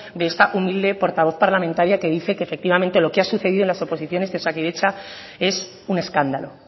de esta humilde portavoz parlamentaria que dice que efectivamente lo que ha sucedido en las oposiciones de osakidetza es un escándalo